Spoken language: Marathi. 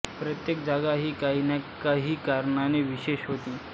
प्रत्येक जागा ही काही ना काही कारणाने विशेष होती